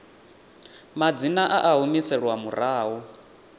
madzina a a humiselwa murahu